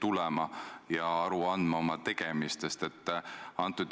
Olen talitanud ka oma lastetoa tõekspidamistest lähtuvalt.